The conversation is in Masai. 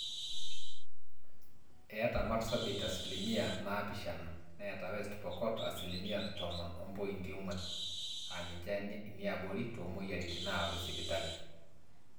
eeta marsabit asilimia naapishana, neeta west pokot asilimia tomon ompointi ong'wan aaninje iniaabori toomweyiaritin naawaki sipitali